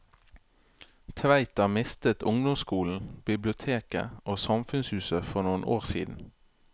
Tveita mistet ungdomsskolen, biblioteket og samfunnshuset for noen år siden.